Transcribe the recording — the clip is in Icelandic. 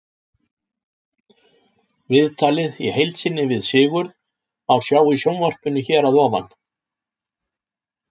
Viðtalið í heild sinni við Sigurð má sjá í sjónvarpinu hér að ofan.